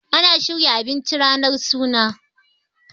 ana shirya abinci ranar suna